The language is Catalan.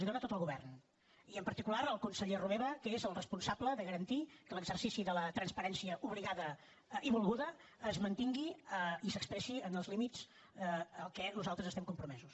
les hi dóna tot el govern i en particular el conseller romeva que és el responsable de garantir que l’exercici de la transparència obligada i volguda es mantingui i s’expressi en els límits en què nosaltres estem compromesos